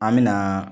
An mɛna